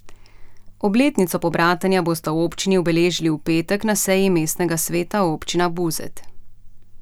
Obletnico pobratenja bosta občini obeležili v petek na seji mestnega sveta občine Buzet.